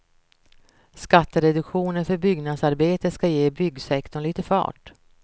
Skattereduktionen för byggnadsarbete ska ge byggsektorn lite fart.